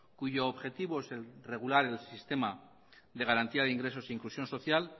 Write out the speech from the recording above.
cuyo objetivo es regular el sistema de garantía de ingresos e inclusión social